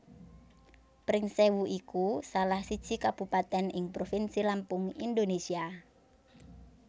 Pringsèwu iku salah siji Kabupatèn ing Provinsi Lampung Indonésia